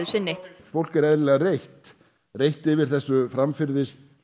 sinni fólk er eðlilega reitt reitt yfir þessu framferði